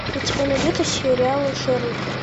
у тебя найдется сериал шерлок